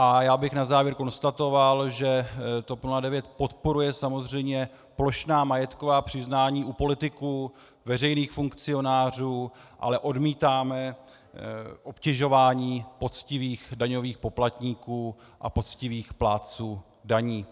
A já bych na závěr konstatoval, že TOP 09 podporuje samozřejmě plošná majetková přiznání u politiků, veřejných funkcionářů, ale odmítáme obtěžování poctivých daňových poplatníků a poctivých plátců daní.